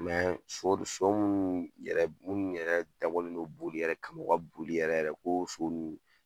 sho munnu yɛrɛ, munnu yɛrɛ dabɔlen do boli yɛrɛ kama boli, u ka boli yɛrɛ ko so nunnu.